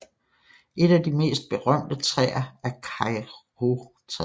Et af de mest berømte træer er Kauritræet